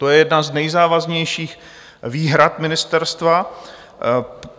To je jedna z nejzávažnějších výhrad ministerstva.